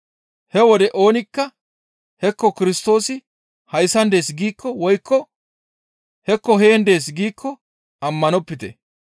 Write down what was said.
«He wode oonikka, ‹Hekko Kirstoosi hayssan dees› giikko woykko, ‹Hekko heen dees› giikko ammanopite.